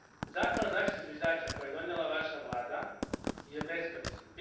Zakon o zaštiti zviždača koji je donijela vaša vlada je beskoristan.